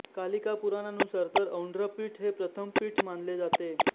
कालिका पुराणानुसार तर औंड्रपीठ हे प्रथम पीठ मानले जाते